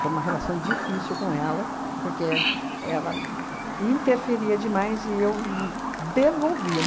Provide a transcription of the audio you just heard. Foi uma relação difícil com ela, porque ela interferia demais e eu n devolvia.